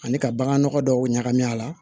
Ani ka bagan nɔgɔ dɔw ɲagami a la